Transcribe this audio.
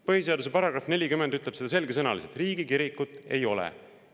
Põhiseaduse § 40 ütleb seda selgesõnaliselt: riigikirikut ei ole.